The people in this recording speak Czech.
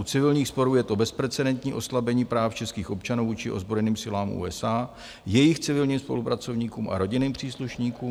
U civilních sporů je to bezprecedentní oslabení práv českých občanů vůči ozbrojeným silám USA, jejich civilním spolupracovníkům a rodinným příslušníkům.